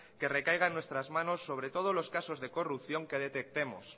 que recaigan en nuestras manos sobre todo los casos de corrupción que detectemos